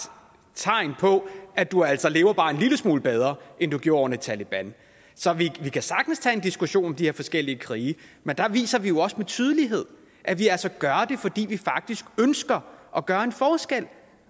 tegn på at du altså lever bare en lille smule bedre end du gjorde under taleban så vi kan sagtens tage en diskussion om de her forskellige krige men der viser vi jo også med tydelighed at vi altså gør det fordi vi faktisk ønsker at gøre en forskel